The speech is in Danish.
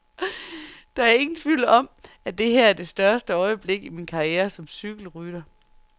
Der er ingen tvivl om, at det her er det største øjeblik i min karriere som cykelrytter.